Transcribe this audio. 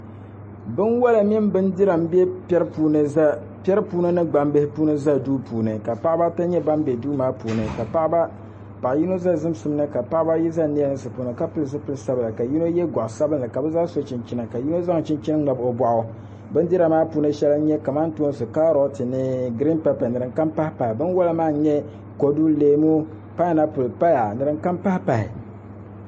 Binwola ni bindira n bɛ piɛri ni gbambihi puuni ʒɛ duu puuni ka paɣaba ata nyɛ ban bɛ duu maa puuni ka paɣa yino ʒɛ zimsim ni ka paɣaba ayi ʒɛ niɛlinsi puuni ka pili zipili sabila ka yino yɛ goɣa sabinli ka bi zaa so chinchina ka yino zaŋ chinchini labi o boɣu bindira maa puuni shɛli n nyɛ kamantoosi kaarot ni giriin pɛpɛ ni din kam pahi pahi